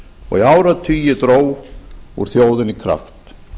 og í áratugi dró úr þjóðinni kraft